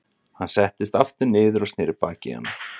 Hann settist aftur niður og sneri baki í hana.